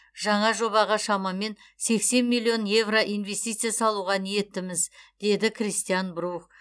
жаңа жобаға шамамен сексен миллион еуро инвестиция салуға ниеттіміз деді кристиан брух